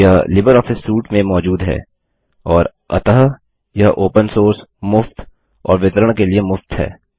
यह Libre office suite में मौजूद है और अतः यह ओपन सोर्स मुफ्त और वितरण के लिए मुफ्त है